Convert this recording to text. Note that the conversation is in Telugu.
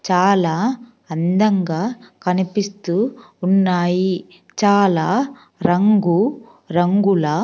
చాలా అందంగా కనిపిస్తూ ఉన్నాయి చాలా రంగు రంగుల--